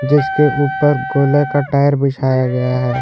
जिसके ऊपर गोलाकार टायर बिछाया गया है।